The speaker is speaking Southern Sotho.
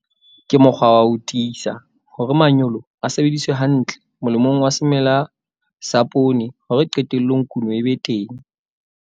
Ke mokgwa wa ho tiisa hore manyolo a sebediswa hantle molemong wa semela sa poone hore qetellong kuno e be teng.